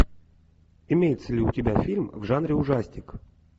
имеется ли у тебя фильм в жанре ужастик